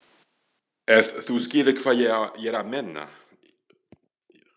Ef þú skilur hvað ég er að meina.